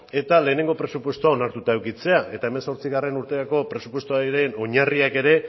eta lehenengo presupuestoa onartuta edukitzea eta hemezortzigarrena urterako presupuestoaren oinarriak ere